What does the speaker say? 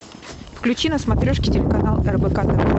включи на смотрешке телеканал рбк тв